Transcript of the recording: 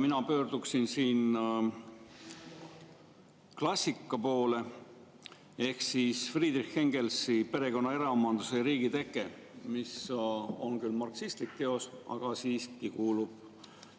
Mina pöörduksin siin klassika poole ehk Friedrich Engelsi teose "Perekonna, eraomanduse ja riigi tekkimine" poole, mis on küll marksistlik teos, aga kuulub siiski